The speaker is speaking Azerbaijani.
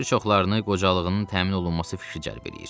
Bir çoxlarını qocalığının təmin olunması fikri cəlb eləyir.